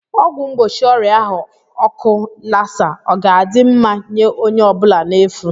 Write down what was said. ọgwụ mgbochi ọrịa ahu oku Lassa ọ ga-adị ma nye onye ọ bụla n'efu?